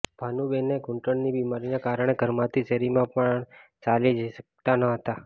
ભાનુબેને ઘુંટણની બિમારીને કારણે ઘરમાંથી શેરીમાં પણ ચાલીને જઈ શક્તા ન હતા